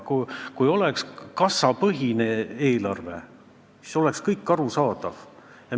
Kui meil oleks kassapõhine eelarve, siis oleks kõik arusaadav.